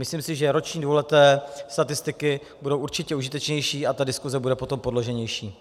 Myslím si, že roční, dvouleté statistiky budou určitě užitečnější a ta diskuse bude potom podloženější.